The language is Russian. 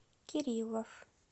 кириллов